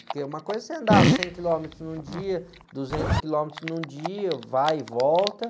Porque uma coisa é você andar cem quilômetros num dia, duzentos quilômetros num dia, vai e volta.